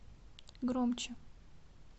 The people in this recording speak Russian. громче